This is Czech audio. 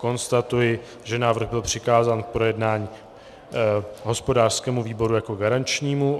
Konstatuji, že návrh byl přikázán k projednání hospodářskému výboru jako garančnímu.